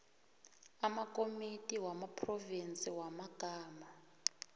amakomiti wamaphrovinsi wamagama